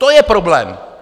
To je problém!